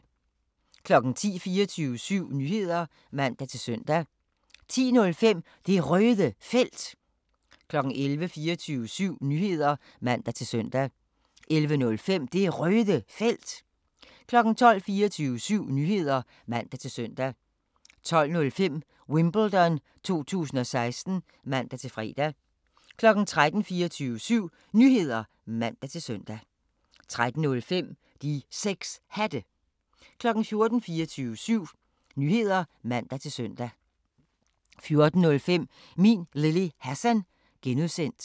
10:00: 24syv Nyheder (man-søn) 10:05: Det Røde Felt 11:00: 24syv Nyheder (man-søn) 11:05: Det Røde Felt 12:00: 24syv Nyheder (man-søn) 12:05: Wimbledon 2016 (man-fre) 13:00: 24syv Nyheder (man-søn) 13:05: De 6 Hatte 14:00: 24syv Nyheder (man-søn) 14:05: Min Lille Hassan (G)